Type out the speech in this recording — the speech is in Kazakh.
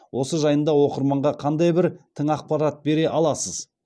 осы жайында оқырманға қандай бір тың ақпарат бере аласыз